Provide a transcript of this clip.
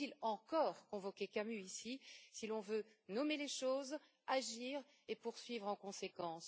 Faut il encore convoquer Camus, ici, si l'on veut nommer les choses, agir et poursuivre en conséquence.